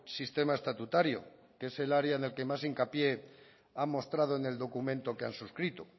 sistema estatutario que es el área en el que más hincapié han mostrado en el documento que han suscrito